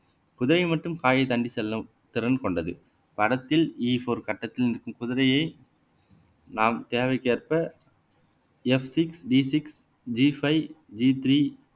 குதிரை மட்டும் காயை தாண்டி செல்லும் திறன் கொண்டது படத்தில் இ போர் கட்டத்தில் நிற்கும் குதிரையை நாம் தேவைக்கேற்ப F six D six G five G three